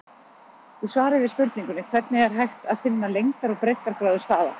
Í svari við spurningunni Hvernig er hægt að finna lengdar- og breiddargráðu staða?